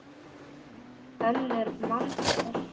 önnur manntöl